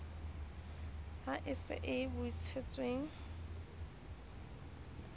ha e se a bontshitsweng